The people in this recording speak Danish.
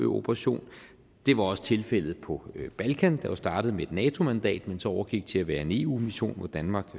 operation det var også tilfældet på balkan der jo startede med et nato mandat men så overgik til at være en eu mission hvor danmark